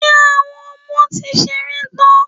Ṣé Àwọn ọmọ ti ṣeré tán?